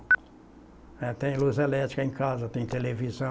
Ela tem luz elétrica em casa, tem televisão.